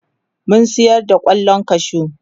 mun sayar da kwallon kwashu